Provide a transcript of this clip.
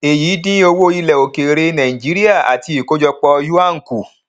èyí dín owó ilẹ òkèèrè nàìjíríà àti ìkójọpọ yuan kù